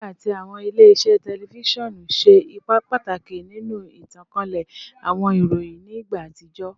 Redio ati awọn ile-iṣẹ tẹlifisiọnu ṣe ipa pataki ninu itankale awọn iroyin ni igba atijọ